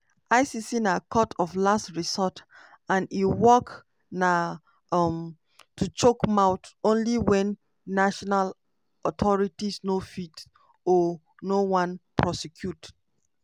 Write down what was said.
icc na court of last resort and e work na um to chook mouth only wen national authorities no fit or no wan prosecute.